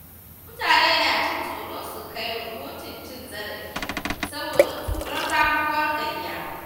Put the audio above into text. Mutane na jin tsoro su kai rahoton cin zarafi saboda tsoron ramuwar gayya.